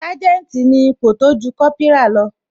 Sanjeti ni ipò tójú Kópírà lọ